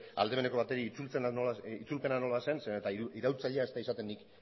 aldameneko bati itzulpena nola zen zeren eta iraultzailea ez da nik